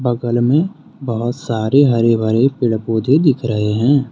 बगल में बहुत सारे हरे भरे पेड़ पौधे दिख रहे है।